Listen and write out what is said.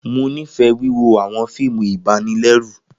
Mo nifẹ wiwo awọn fiimu ibanilẹru.